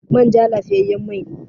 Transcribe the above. Manja lafiyayyen mai ne.